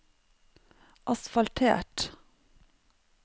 asfaltert